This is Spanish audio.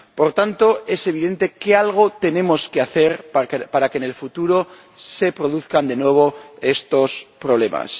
Por tanto, es evidente que algo tenemos que hacer para que en el futuro no se produzcan de nuevo estos problemas.